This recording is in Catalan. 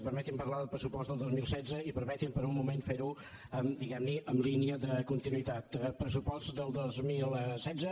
permeti’m parlar del pressupost del dos mil setze i permeti’m per un moment fer ho diguem ne en línia de continuïtat eh pressupost del dos mil setze